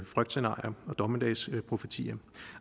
frygtscenarier og dommedagsprofetier